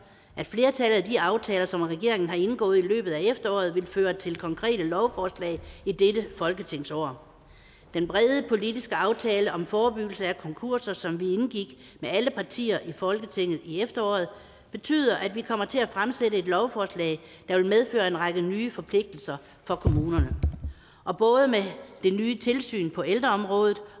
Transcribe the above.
at flertallet af de aftaler som regeringen har indgået i løbet af efteråret vil føre til konkrete lovforslag i dette folketingsår den brede politiske aftale om forebyggelse af konkurser som vi indgik med alle partier i folketinget i efteråret betyder at vi kommer til at fremsætte et lovforslag der vil medføre en række nye forpligtelser for kommunerne og både med det nye tilsyn på ældreområdet